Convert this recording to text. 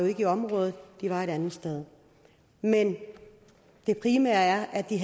ikke i området de var et andet sted men det primære er at de